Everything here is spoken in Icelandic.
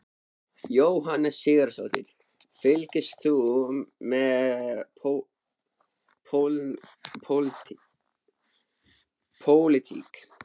Jóhanna Sigurðardóttir: Fylgist þú með pólitík?